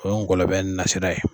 O ye nkɔlɔ bɛ nasira ye.